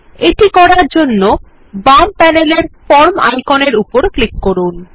এটি করার জন্য বাম প্যানেলের ফরম আইকনের উপর ক্লিক করুন